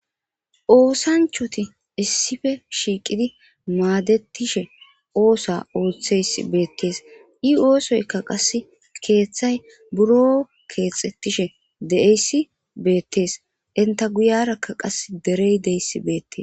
Oosanchoti issippe shiiqidi maadetishe ootha oothiyayssi beetes i oosoyka qase keethay buro keethetishe de'iyaysi beetes enta guyiraka qas derey diyaysi beetes.